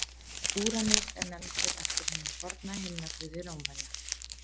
Úranus er nefndur eftir hinum forna himnaguði Rómverja.